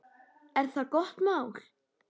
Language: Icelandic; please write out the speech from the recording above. Er það gott mál.